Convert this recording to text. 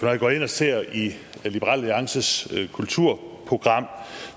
jeg går ind og ser i liberal alliances kulturprogram